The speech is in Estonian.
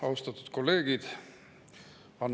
Austatud kolleegid!